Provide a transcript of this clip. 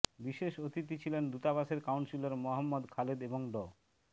বিশেষ অতিথি ছিলেন দূতাবাসের কাউন্সিলর মোহাম্মদ খালেদ এবং ড